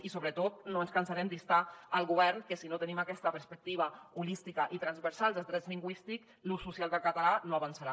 i sobretot no ens cansarem d’instar el govern que si no tenim aquesta perspectiva holística i transversal dels drets lingüístics l’ús social del català no avançarà